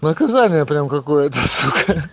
наказание прям какое-то сука